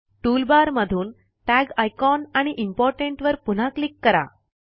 toolbar मधून tag icon आणि important वर पुन्हा क्लिक करा